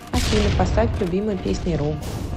афина поставь любимые песни ру